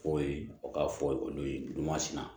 K'o ye o k'a fɔ olu ye dun masina